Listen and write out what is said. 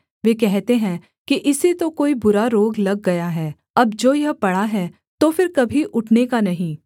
वे कहते हैं कि इसे तो कोई बुरा रोग लग गया है अब जो यह पड़ा है तो फिर कभी उठने का नहीं